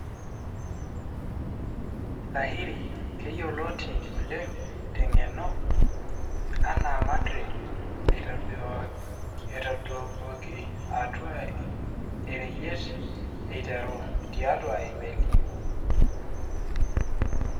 Lahiri, keyioloti oleng tengeno ana Mandrake, eitadoikioki atwa oreyiet eiteru tiatua emeli.